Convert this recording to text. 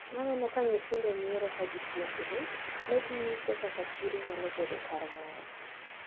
Naneno ka nyithindo nyiero kagipuonjre, neginyiso kaka chiro nyalo bedo kar mor.